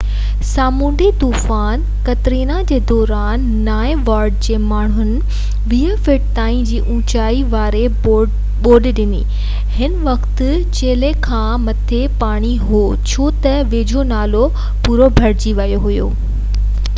سامونڊي طوفان قطرينا جي دوران نانئن وارڊ جي ماڻهن 20 فٽن تائين جي اوچائي واري ٻوڏ ڏٺي هن وقت چيلهہ کان مٿي پاڻي هو ڇو تہ ويجهو نالو پورو ڀرجي ويو هو